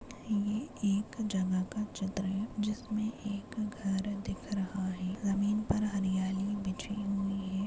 ये एक जगह का चित्र है। जिसमे एक घर दिख रहा है। जमीन पर हरियाली बिछी हुई है।